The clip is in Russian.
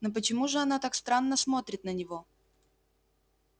но почему же она так странно смотрит на него